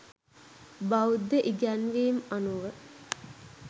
බෞද්ධ ඉගැන්වීම් අනුව